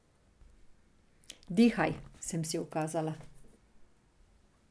Dihaj, sem si ukazala.